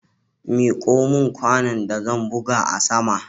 Miko min kwanon da zan buga a sama